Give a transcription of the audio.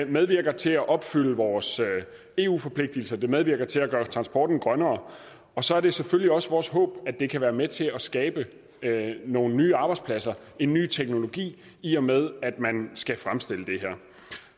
medvirker til at opfylde vores eu forpligtelser det medvirker til at gøre transporten grønnere og så er det selvfølgelig også vores håb at det kan være med til at skabe nogle nye arbejdspladser en ny teknologi i og med at man skal fremstille det her